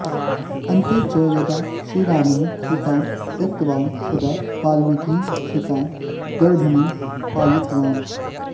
अन्ते च यदा श्रीरामः सीतां त्यक्तवान् तदा वाल्मीकिः सीतां गर्भिणीं पालितवान्